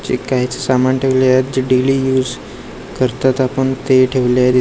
जे काय आहे ते सामान ठेवलेले आहेत. जे डेली यूज करतात आपण ते ठेवलेत.